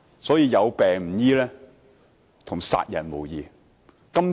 所以，有病卻不醫治，與殺人無異。